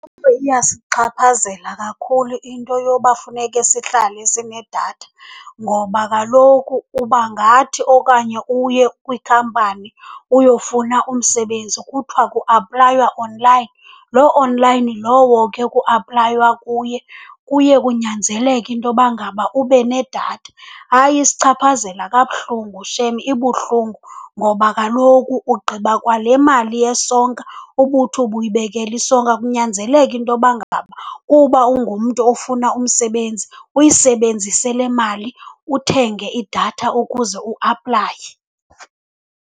Iyasichaphazela kakhulu into yoba funeke sihlale sinedatha, ngoba kaloku uba ngathi okanye uye kwikhampani uyofuna umsebenzi kuthiwa kuaplaywa online. Loo online lowo ke kuaplaywa kuye, kuye kunyanzeleke intoba ngaba ube nedatha. Hayi isichaphazela kabuhlungu shem, ibuhlungu ngoba kaloku ugqiba kwale mali yesonka ubuthi ubuyibekele isonka, kunyanzeleke intoba ngaba uba ungumntu ofuna umsebezi uyisebenzise le mali uthenge idatha ukuze uaplaye.